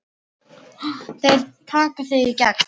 Þeir taka þig í gegn!